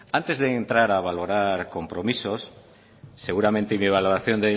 antes de entrar a valorar compromisos seguramente mi valoración